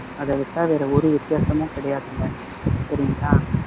அதைவிட்டா வேற ஒரு வித்தியாசமும் கிடையாதுங்க சரிங்களா